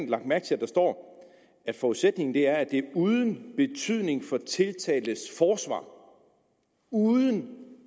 lagt mærke til at der står at forudsætningen er at det er uden betydning for tiltaltes forsvar uden